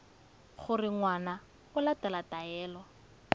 gore ngwana o latela taelo